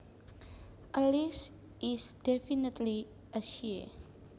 Alice is definitely a she